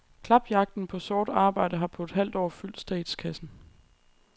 Klapjagten på sort arbejde har på et halvt år fyldt statskassen.